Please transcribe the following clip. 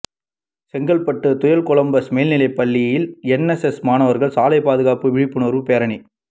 செங்கல்பட்டு தூயகொலம்பஸ் மேல்நிலைப்பள்ளியில் என்எஸ்எஸ் மாணவா்கள் சாலைப்பாதுகாப்பு விழிப்புணா்வு பேரணி